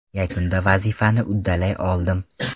Yakunda vazifani uddalay oldim.